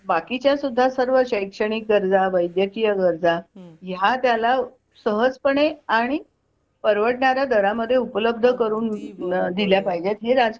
पण बाकी च्या सुद्धा सर्व शैक्षणिक गरजा वैद्यकीय गरजा ह्या त्याला सहज पणे आणि परवडणाऱ्या दरामध्ये उपलब्ध करून दिल्या पाहिजे हे